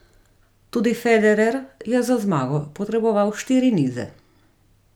Tudi Federer je za zmago potreboval štiri nize.